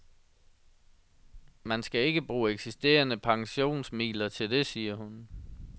Man skal ikke bruge eksisterende pensionsmidler til det, siger hun.